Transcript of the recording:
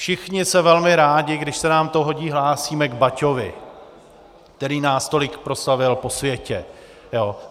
Všichni se velmi rádi, když se nám to hodí, hlásíme k Baťovi, který nás tolik proslavil po světě.